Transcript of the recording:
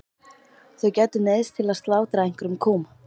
Þau gætu neyðst til að slátra einhverjum kúm.